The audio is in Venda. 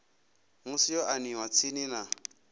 musi yo aniwa tsini na